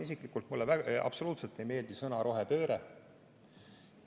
Isiklikult mulle absoluutselt ei meeldi sõna "rohepööre".